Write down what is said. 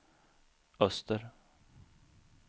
öster